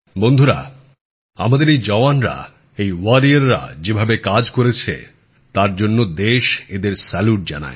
বন্ধুরা আমাদের এই জওয়ানরা এই যোদ্ধারা যে কাজ করেছে তার জন্য দেশ এঁদের স্যালুট জানায়